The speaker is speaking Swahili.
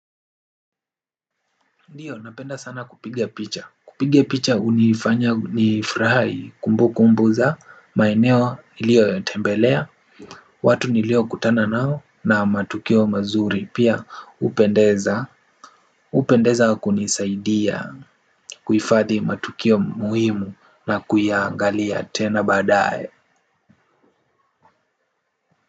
Ndiyo napenda sana kupiga picha. Kupiga picha hunifanya nifurahi ni kumbukumbu za maeneo niliyotembelea watu niliokutana nao na matukio mazuri. Pia hupendeza hupendeza kunisaidia kuifadhi matukio muhimu na kuyaangalia tena baadae.